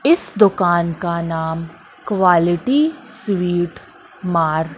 इस दुकान का नाम क्वॉलिटी स्वीट मार--